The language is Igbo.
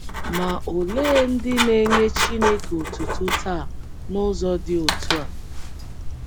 Ma olee ndị na - enye Chineke otuto taa n’ụzọ dị otú a?